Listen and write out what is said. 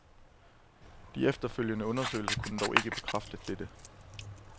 De efterfølgende undersøgelser kunne dog ikke bekræfte dette.